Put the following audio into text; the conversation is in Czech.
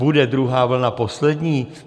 Bude druhá vlna poslední?